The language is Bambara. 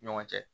Ɲɔgɔn cɛ